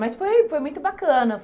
Mas foi foi muito bacana.